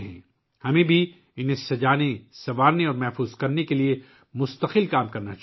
ہمیں انہیں سجانے اور محفوظ کرنے کے لیے بھی لگاتار کام کرنا چاہیے